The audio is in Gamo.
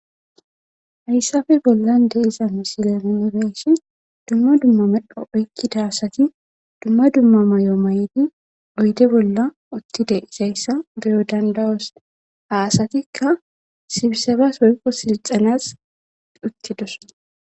Hayisafe bollan nuni be'ishin dumma dumma medho oykkida asati dumma dumma mayo may'ti oyde bolla uttide izayssa beyo dandawos aasatikka sibisebas woykqo silxanas uttidosona